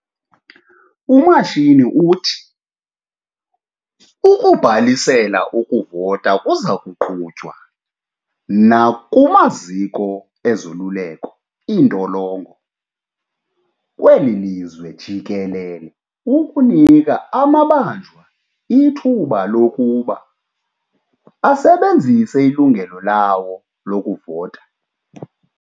UMashini uthi ukubhalisela ukuvota kuzakuqhutywa nakumaziko ezoluleko, iintolongo, kweli lizwe jikelele ukunika amabanjwa ithuba lokuba asebenzise ilungelo lawo lokuvota.